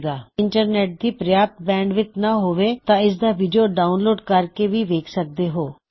ਅਗਰ ਤੁਹਾਡੇ ਕੋਲ ਇੰਟਰਨੇੱਟ ਦੀ ਪਰਯਾਪ੍ਤ ਬੈਂਡਵਿੱਥ ਨਾਂ ਹੋਵੇ ਤਾਂ ਤੁਸੀ ਇਸਦਾ ਵੀਡਿਓ ਡਾਉਨਲੋਡ ਕਰ ਕੇ ਵੀ ਦੇਖ ਸਕਦੇ ਹੋ